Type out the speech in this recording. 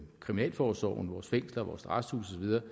kriminalforsorgen vores fængsler vores arresthuse